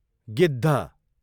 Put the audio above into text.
गिद्ध